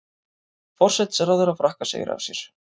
Forsætisráðherra Frakka segir af sér